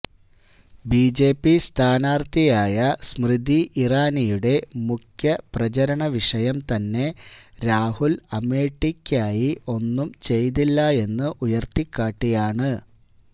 BJP സ്ഥാനാർത്ഥിയായ സ്മൃതി ഇറാനിയുടെ മുഖ്യ പ്രചരണ വിഷയം തന്നെ രാഹുൽ അമേഠിയ്ക്കായി ഒന്നും ചെയ്തില്ലായെന്ന് ഉയർത്തികാട്ടിയാണ്